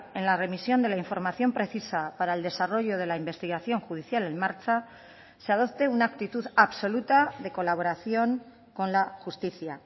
en la remisión de la información precisa para el desarrollo de la investigación judicial en marcha se adopte una actitud absoluta de colaboración con la justicia